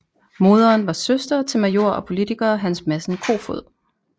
Moderen var søster til major og politiker Hans Madsen Koefoed